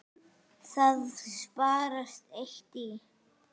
Það sparast eitt í.